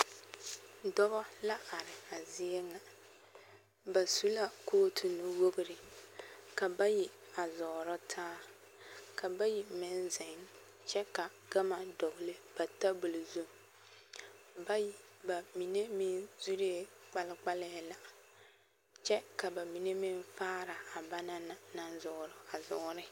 Dɔbɔ la are a zie ŋa, ba su la kootu nu-wogiri ka bayi a zɔɔrɔ taa ka bayi meŋ zeŋ kyɛ ka gama dɔgele ba tabol zu, bamine meŋ zuree kpalkpalɛɛ la kyɛ ka bamine meŋ faara a banaŋ naŋ zɔɔrɔ a zɔɔre.